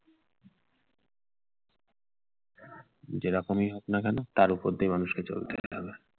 যেরকমই হোক না কেন তার উপর দিয়ে মানুষকে চলতে হবে।